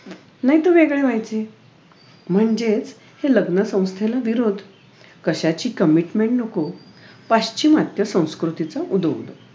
नाहीतर वेगळे व्हायचे म्हणजेच हे लग्न संस्थेला विरोध कशाची commintment नको पाश्चिमात्य संस्कृतीचा उदोउदो